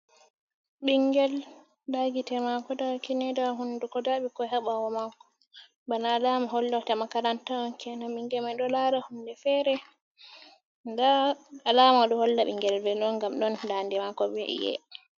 Ɓingel nda gite mako, nda kine nda hunduko, nda ɓikkoi ha ɓawo mako bana alama hollota makaranta on kenan, ɓingel mai ɗo lara hunde feere nda alama ɗo holla ɓingel veelo on ngam ɗon daande mako bei iye.